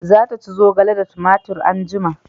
Za ta ci zogale da tumatir anjima